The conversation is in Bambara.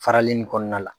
Farali in kɔnɔna la